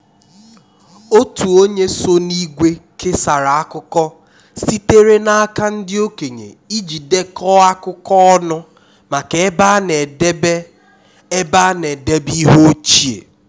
otu onye so n’ìgwè kesara akụkọ sitere n’aka ndị okenye iji dekọọ akụkọ ọnụ maka ebe a na-edebe ebe a na-edebe ihe ochie